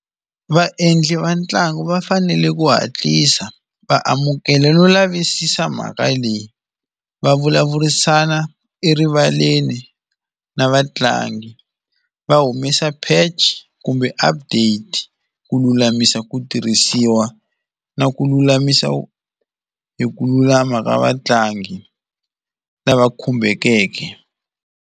Vaendli va ntlangu va fanele ku hatlisa va amukela no lavisisa mhaka leyi va vulavurisana erivaleni na vatlangi, va humesa pheji kumbe update, na ku lulamisa ku tirhisiwa na ku lulamisa hi ku lulama ka vatlangi lava khumbekeke.